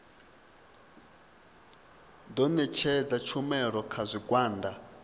ḓo ṋetshedza tshumelo kha zwigwada